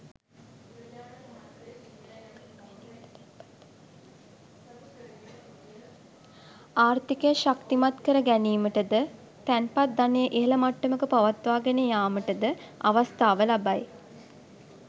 ආර්ථිකය ශක්තිමත් කර ගැනීමට ද තැන්පත් ධනය ඉහළ මට්ටමක පවත්වා ගෙන යාමට ද අවස්ථාව ලබයි.